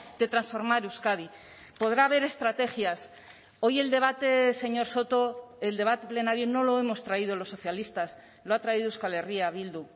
de transformar euskadi podrá haber estrategias hoy el debate señor soto el debate plenario no lo hemos traído los socialistas lo ha traído euskal herria bildu